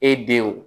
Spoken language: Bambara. E denw